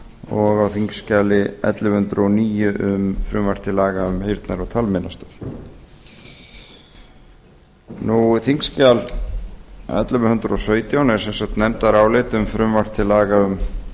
og á þingskjali ellefu hundruð og níu um frumvarp til laga um heyrnar og talmeinastöð þingskjal ellefu hundruð og sautján er sem sagt nefndarálit um frumvarp til laga um